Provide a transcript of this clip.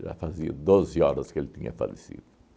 Já fazia doze que ele tinha falecido